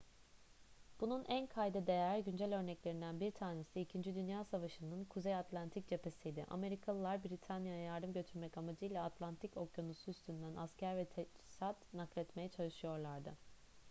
bunun en kayda değer güncel örneklerinden bir tanesi i̇kinci dünya savaşı'nın kuzey atlantik cephesiydi. amerikalılar britanya'ya yardım götürmek amacıyla atlantik okyanusu üstünden asker ve teçhizat nakletmeye çalışıyorlardı